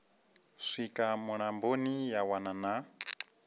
swika mulamboni ya wana na